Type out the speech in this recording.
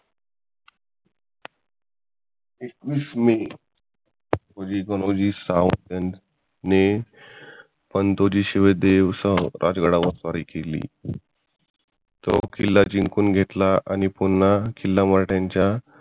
एकवीस मे गणोजी सावंत यांनी पंतोजी समेत राजगडावर स्वारी केली तो किल्ला जिंकून घेतला आणि पुन्हा किल्ला मराठ्यांच्या